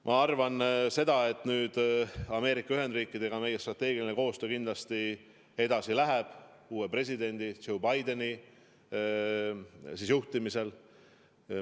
Ma arvan, et Ameerika Ühendriikidega meie strateegiline koostöö kindlasti läheb edasi ka uue presidendi Joe Bideni ajal.